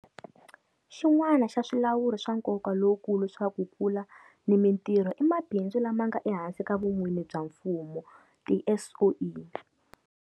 Xin'wana xa swilawuri swa nkoka lowukulu swa ku kula na mitirho i mabindzu lama nga ehansi ka vun'wini bya mfumo, tiSOE.